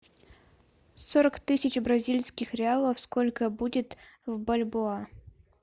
сорок тысяч бразильских реалов сколько будет в бальбоа